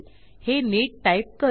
हे नीट टाईप करू